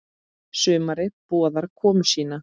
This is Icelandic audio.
Sumarið boðar komu sína.